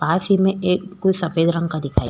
पास ही में एक कोई सफेद रंग का दिखाई --